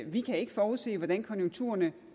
vi kan ikke forudsige hvordan konjunkturerne